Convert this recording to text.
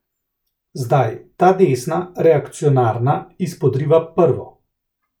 Zdaj ta desna, reakcionarna, izpodriva prvo.